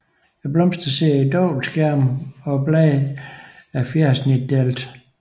Blomsterne sidder i dobbeltskærme og bladene er fjersnitdelte